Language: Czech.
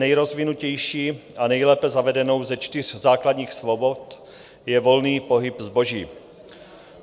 Nejrozvinutější a nejlépe zavedenou ze čtyř základních svobod je volný pohyb zboží.